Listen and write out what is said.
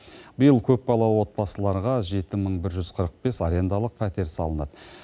биыл көпбалалы отбасыларға жеті мың бір жүз қырық бес арендалық пәтер салынады